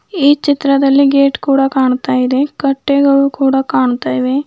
ಚಿತ್ರದಲ್ಲಿ ಗೇಟ್ ಕೂಡ ಕಾಣ್ತಾ ಇದೆ ಕಟ್ಟೆಗಳು ಕೂಡ ಕಾಣ್ತಾ ಇವೆ.